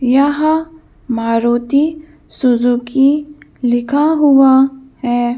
यहा मारुति सुजुकी लिखा हुआ है।